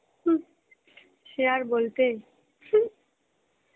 হম সে আর বলতে.